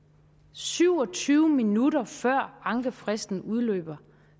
syv og tyve minutter før ankefristen udløber